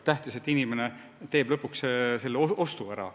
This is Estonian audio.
Tähtis on, et inimene teeb selle ostu ära.